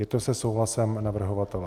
Je to se souhlasem navrhovatele?